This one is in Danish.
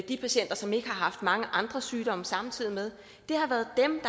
de patienter som ikke har haft mange andre sygdomme samtidig med har været dem